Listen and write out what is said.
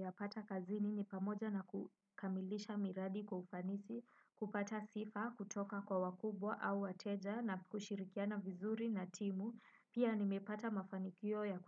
Yapata kazini ni pamoja na kukamilisha miradi kwa ufanisi, kupata sifa, kutoka kwa wakubwa au wateja na kushirikiana vizuri na timu. Pia nimepata mafanikio ya